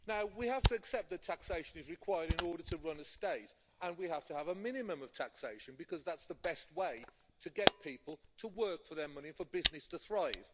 We have to accept that taxation is required in order to run a state and we have to have a minimum of taxation because that is the best way to get people to work for their money and for business to thrive.